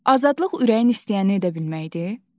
Azadlıq ürəyin istəyəni edə bilməkdir.